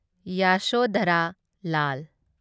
Yashodhara Lal